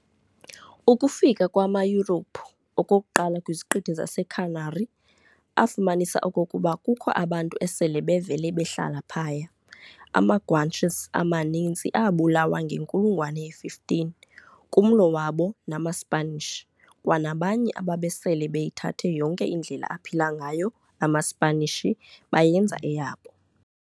Ukufika kwamaYurophu okokuqala kwiziqithi zaseCanary, afumanisa okokuba kukho abantu esele bevele behlala phaya. Ama-Guanches amaninzi aabulawa ngenkulungwane ye-15, kumlo wabo namaSipanish, kwanabanye ababesele beyithathe yonke indlela aphila ngayo amaSipanishi bayenza eyabo.